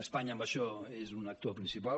espanya en això és un actor principal